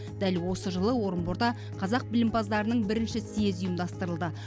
дәл осы жылы орынборда қазақ білімпаздарының бірінші съезі ұйымдастырылды